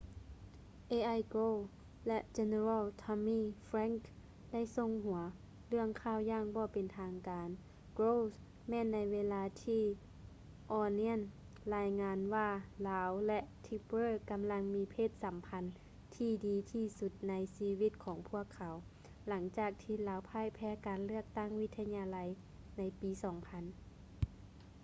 al gore ແລະ general tommy franks ໄດ້ສົ່ງຫົວເລື່ອງຂ່າວຢ່າງບໍ່ເປັນທາງການ gore's ແມ່ນໃນເວລາທີ່ onion ລາຍງານວ່າລາວ ແລະ tipper ກຳລັງມີເພດສຳພັນທີ່ດີທີ່ສຸດໃນຊີວິດຂອງພວກເຂົາ ຫຼັງຈາກທີ່ລາວພ່າຍແພ້ການເລືອກຕັ້ງວິທະຍາໄລໃນປີ 2000